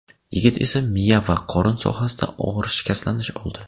Yigit esa miya va qorin sohasida og‘ir shikastlanish oldi.